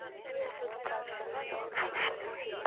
Síðari hluta dags sólskin og hiti.